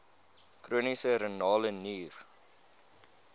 chroniese renale nier